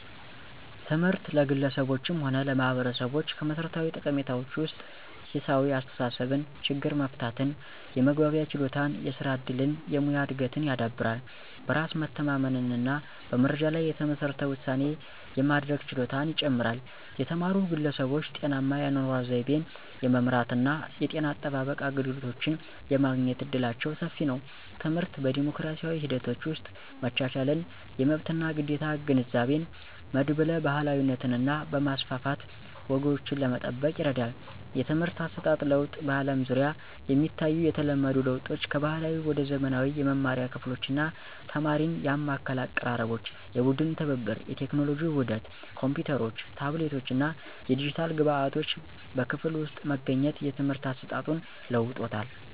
ትምህርት ለግለሰቦችም ሆነ ለማህበረሰቦች ከመሠረታዊ ጠቀሜታዎች ውስጥ ሂሳዊ አስተሳሰብን፣ ችግር መፍታትን፣ የመግባቢያ ችሎታን፣ የስራ እድልን፣ የሙያ እድገትን ያዳብራል። በራስ መተማመንን እና በመረጃ ላይ የተመሠረተ ውሳኔ የማድረግ ችሎታን ይጨምራል። የተማሩ ግለሰቦች ጤናማ የአኗኗር ዘይቤን የመምራት እና የጤና አጠባበቅ አገልግሎቶችን የማግኘት እድላቸው ሰፊ ነው። ትምህርት በዲሞክራሲያዊ ሂደቶች ውስጥ መቻቻልን፣ የመብት እና ግዴታ ግንዛቤን፣ መድብለ ባህላዊነትን በማስፋፋት ወጎችን ለመጠበቅ ይረዳል። የትምህርት አሰጣጥ ለውጥ በአለም ዙሪያ የሚታዩ የተለመዱ ለውጦች ከባህላዊ ወደ ዘመናዊ የመማሪያ ክፍሎች እና ተማሪን ያማከለ አቀራረቦች፣ የቡድን ትብብር፣ የቴክኖሎጂ ውህደት ኮምፒውተሮች፣ ታብሌቶች እና የዲጂታል ግብዓቶች በክፍል ውስጥ መገኘት የትምህርት አሰጣጡን ለውጦታል።